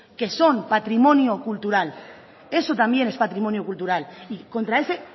que son patrimonio cultural eso también es patrimonio cultural y contra ese